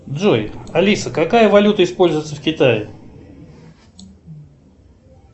джой алиса какая валюта используется в китае